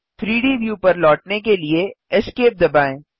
3डी व्यू पर लौटने के लिए Esc दबाएँ